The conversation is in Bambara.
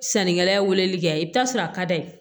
Sannikɛla weleli kɛ i bi taa sɔrɔ a ka d'a ye